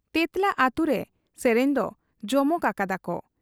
ᱛᱮᱸᱛᱞᱟ ᱟᱹᱛᱩᱨᱮ ᱥᱮᱨᱮᱧ ᱫᱚ ᱡᱚᱢᱚᱠ ᱟᱠᱟᱫᱟᱠᱚ ᱾